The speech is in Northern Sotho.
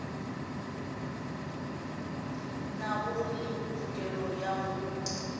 nago le tokelo ya go